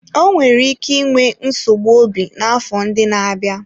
Ọ nwere ike inwe nsogbu obi n'afọ ndị na-abịa.